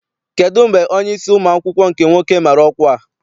Kedụ mgbe onyeisi ụmụ akwụkwọ nke nwoke mara ọkwa a?